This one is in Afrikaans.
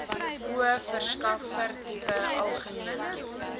o verskaffertipe algemene